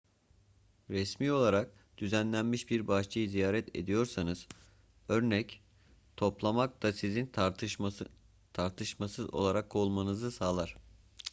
resmi olarak düzenlenmiş bir bahçeyi ziyaret ediyorsanız örnek toplamak da sizin tartışmasız olarak kovulmanızı sağlar